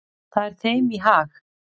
Það er þeim í hag.